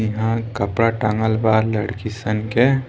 इहां कपड़ा टांगल बा लड़की सन के।